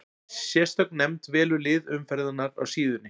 Sérstök nefnd velur lið umferðarinnar á síðunni.